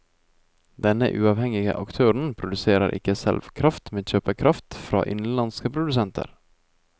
Denne uavhengige aktøren produserer ikke selv kraft, men kjøper kraft fra innenlandske produsenter.